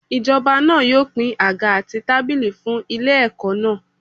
Ijoba náà yóò pín àga àti tábìlì fún ilé ẹ̀kọ́ náà.